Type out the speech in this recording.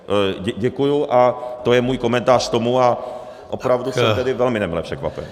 Děkuji a to je můj komentář k tomu a opravdu jsem tedy velmi nemile překvapen.